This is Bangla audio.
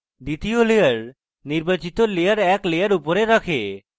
দ্বিতীয় layer নির্বাচিত layer এক layer উপরে রাখে